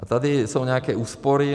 A tady jsou nějaké úspory.